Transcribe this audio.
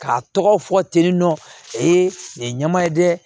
K'a tɔgɔ fɔ teliman ee nin ye ɲama ye dɛ